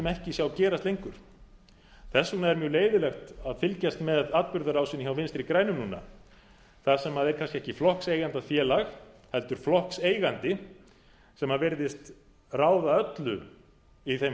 ekki sjá gerast lengur þess vegna er mjög leiðinlegt að fylgjast með atburðarásinni hjá vinstri grænum núna þar sem er kannski ekki flokkseigendafélag heldur flokkseigandi sem virðist ráða öllu í þeim